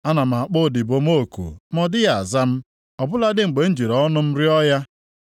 Ana m akpọ odibo m oku ma ọ dịghị aza m, ọ bụladị mgbe m jiri ọnụ m rịọ ya.